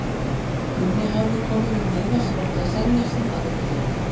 Gunni hafði komið með miða sem átti að selja sem aðgöngumiða.